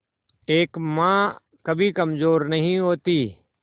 एक मां कभी कमजोर नहीं होती